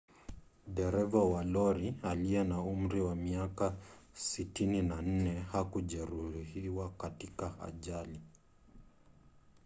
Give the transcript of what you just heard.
dereva wa lori aliye na umri wa miaka 64 hakujeruhiwa katika ajali